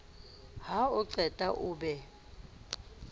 ha o qeta o be